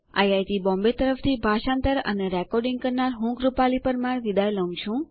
IIT Bombay તરફથી ભાષાંતર કરનાર હું કૃપાલી પરમાર વિદાય લઉં છું